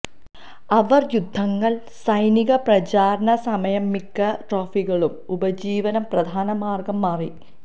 അവർ യുദ്ധങ്ങൾ സൈനിക പ്രചാരണ സമയം മിക്ക ട്രോഫികളും ഉപജീവനം പ്രധാന മാർഗം മാറി